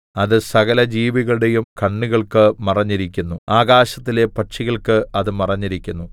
അത് സകലജീവികളുടെയും കണ്ണുകൾക്ക് മറഞ്ഞിരിക്കുന്നു ആകാശത്തിലെ പക്ഷികൾക്ക് അത് മറഞ്ഞിരിക്കുന്നു